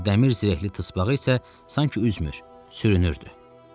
Bu dəmir zirehli tısbağa isə sanki üzmür, sürünürdü.